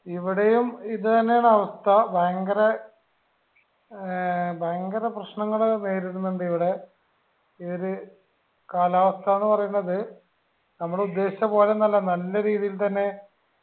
ഇവിടേം ഇത് തന്നെയാണ് അവസ്ഥ ഭയങ്കര ഏർ ഭയങ്കര പ്രശ്നങ്ങള് വരുന്നിണ്ടിവിടെ ഏത് കാലാവസ്ഥ ന്ന് പറേന്നത് നമ്മൾ ഉദ്ദേശിച്ച പോലെയൊന്നു അല്ല നല്ല രീതിയിൽ തന്നെ